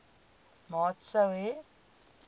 maat sou hê